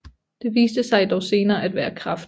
Det viste sig dog senere at være kræft